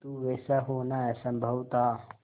किंतु वैसा होना असंभव था